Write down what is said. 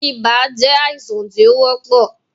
Ibà je àìsàn tí ó wọ́pọ̀